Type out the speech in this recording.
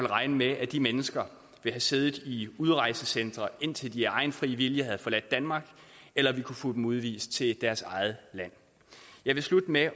regne med at de mennesker ville sidde i udrejsecentrene indtil de af egen fri vilje havde forladt danmark eller vi kunne få dem udvist til deres eget land jeg vil slutte med